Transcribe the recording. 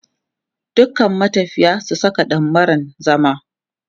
"Dukan matafiya su saka dammaran zama".